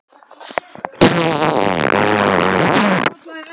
Einn af dýrmætustu eiginleikum Kamillu var sjálfstæði og sjálfsagi.